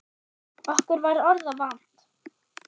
Okkur var orða vant.